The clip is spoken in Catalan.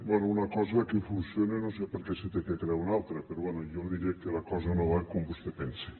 bé una cosa que funciona no sé per què se n’ha de crear una altra però bé jo li diré que la cosa no va com vostè pensa